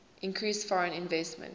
increased foreign investment